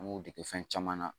An b'o dege fɛn caman na